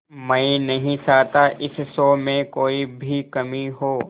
मैं नहीं चाहता इस शो में कोई भी कमी हो